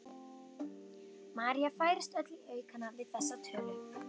María færist öll í aukana við þessa tölu.